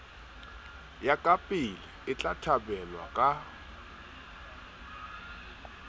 ya kapele etla thabelwa ka